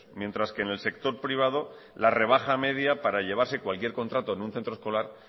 mientras que en el sector privado la rebaja media para llevarse cualquier contrato en un centro escolar